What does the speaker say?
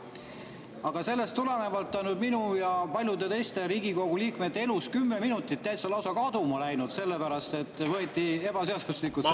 Aga sellest tulenevalt on nüüd minu ja paljude teiste Riigikogu liikmete elust kümme minutit täitsa kaduma läinud, sellepärast et võeti ebaseaduslikult see …